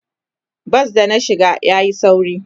Bas da na shiga yayi sauri.